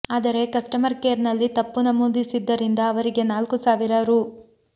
ಆದರೆ ಕಸ್ಟಮರ್ ಕೇರ್ನಲ್ಲಿ ತಪ್ಪು ನಮೂದಿಸಿದ್ದರಿಂದ ಅವರಿಗೆ ನಾಲ್ಕು ಸಾವಿರ ರೂ